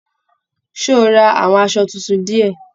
Ṣé o rà àwọn aṣọ títún diẹ?